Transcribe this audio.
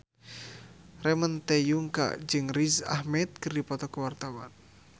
Ramon T. Yungka jeung Riz Ahmed keur dipoto ku wartawan